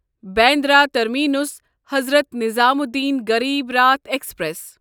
Bandra terminus Hazrat Nizamuddin Garib Rath express